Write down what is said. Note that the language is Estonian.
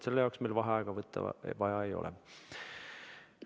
Selle jaoks meil vaheaega võtta vaja ei ole.